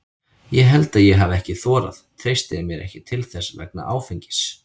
Ég held að ég hafi ekki þorað, treysti mér ekki til þess vegna áfengis.